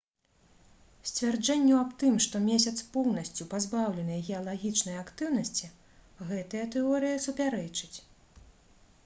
сцвярджэнню аб тым што месяц поўнасцю пазбаўлены геалагічнай актыўнасці гэтая тэорыя супярэчыць